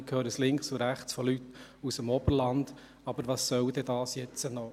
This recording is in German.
Ich werde von links und von rechts und auch von Leuten aus dem Oberland gefragt, was denn das jetzt soll.